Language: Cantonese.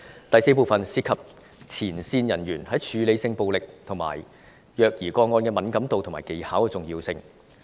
第四，就是前線人員在處理性暴力和虐兒個案的敏感度和技巧的重要性。